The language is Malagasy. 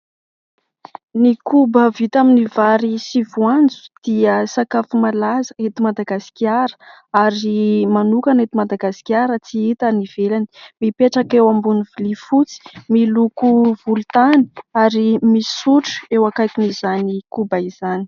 Ny koba vita amin'ny vary sy voanjo dia sakafo malaza eto Madagasikara ary manokana eto Madagasikara, tsy hita any ivelany, mipetraka eo ambony vilia fotsy miloko volontany ary misy sotro eo akaikin'izany koba izany.